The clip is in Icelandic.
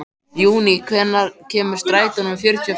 Júní, hvenær kemur strætó númer fjörutíu og fimm?